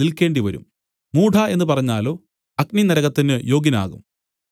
നിൽക്കേണ്ടിവരും മൂഢാ എന്നു പറഞ്ഞാലോ അഗ്നിനരകത്തിന് യോഗ്യനാകും